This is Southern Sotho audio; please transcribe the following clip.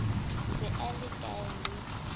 se a le hkae le